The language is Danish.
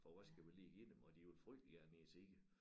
For hvad skal vi lige give dem og de ville frygtelig gerne ned og se det